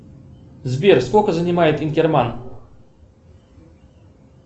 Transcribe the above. сбер сколько занимает инкерман